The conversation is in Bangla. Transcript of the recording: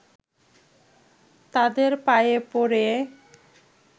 তাদের পায়ে পড়ে